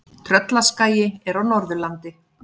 Tröllaskagi er á Norðurlandi.